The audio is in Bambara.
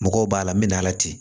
Mɔgɔw b'a la n bɛ na ala ten